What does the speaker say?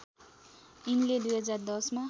यिनले २०१० मा